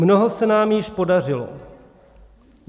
Mnoho se nám již podařilo.